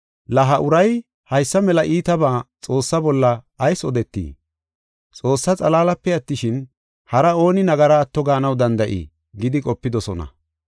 “La ha uray haysa mela iitabaa Xoossaa bolla ayis odeetii? Xoossaa xalaalape attishin, hari ooni nagara atto gaanaw danda7ii?” gidi qopidosona.